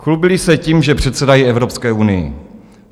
Chlubili se tím, že předsedají Evropské unii.